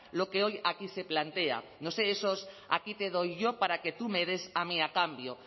lo que hoy aquí se plantea no sé esos aquí te doy yo para que tú me des a mí a cambio